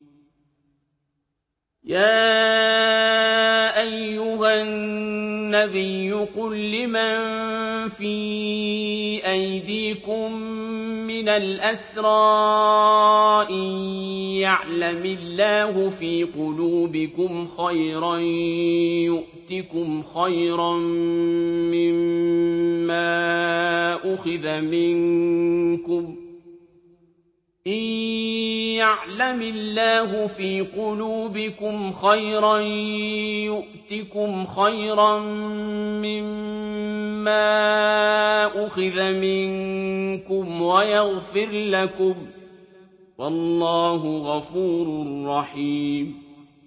يَا أَيُّهَا النَّبِيُّ قُل لِّمَن فِي أَيْدِيكُم مِّنَ الْأَسْرَىٰ إِن يَعْلَمِ اللَّهُ فِي قُلُوبِكُمْ خَيْرًا يُؤْتِكُمْ خَيْرًا مِّمَّا أُخِذَ مِنكُمْ وَيَغْفِرْ لَكُمْ ۗ وَاللَّهُ غَفُورٌ رَّحِيمٌ